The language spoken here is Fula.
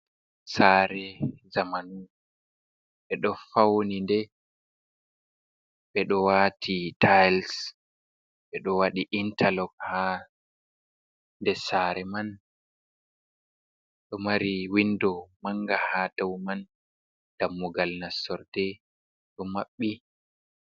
Sare zamanu ɓe do fauni de ɓedo wati tiles, ɓe do wadi intarlog ha de sare man ɗo mari windo manga ha dau man dammugal nasordee ɗo maɓɓi.